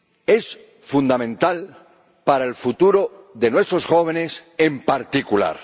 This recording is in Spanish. Es fundamental para el futuro de nuestros jóvenes en particular.